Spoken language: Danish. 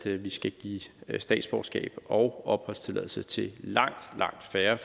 at vi skal give statsborgerskab og opholdstilladelse til langt langt færre